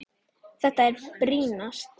Hvað er brýnast?